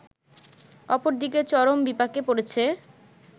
অপরদিকে চরম বিপাকে পড়েছে